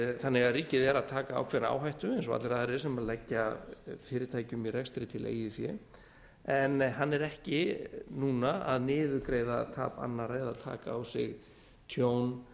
þannig að ríkið er að taka ákveðna áhættu eins og allir aðrir sem leggja fyrirtækjum rekstri til eigið fé en hann er ekki núna að niðurgreiða tap annarra eða taka á sig tjón